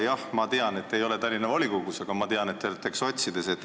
Jah, ma tean, et te ei ole Tallinna volikogus, aga ma tean, et te kuulute sotside ridadesse.